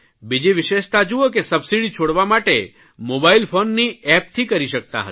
બીજી વિશેષતા જૂઓ કે સબસીડી છોડવા માટે મોબાઇલ ફોનની એપથી કરી શકતા હતા